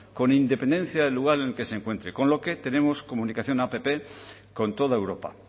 con independencia del lugar en el que se encuentre con lo que tenemos comunicación app con toda europa